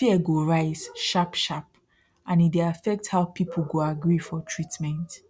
fear go rise sharpsharp and e dey affect how people go agree for treatment